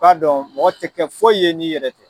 Ka dɔn mɔgɔ te kɛ foyi ye n'i yɛrɛ tɛ.